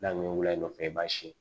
N'a kun ye nɔfɛ i b'a siyɛn